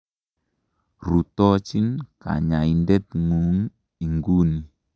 Rutochin kanyaindet ng'ung' inguni.